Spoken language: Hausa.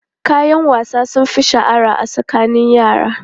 Kayan wasa sun fi shahara a tsakanin yara.